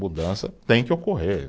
Mudança tem que ocorrer.